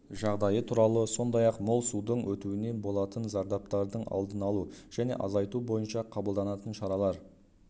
жағдайы туралы сондай-ақ мол судың өтуінен болатын зардаптардң алдын алу және азайту бойынша қабылданатын шаралар